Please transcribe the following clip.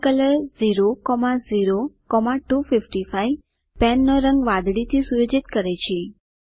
pen colour 00255 પેનનો રંગ વાદળીથી સુયોજિત કરે છે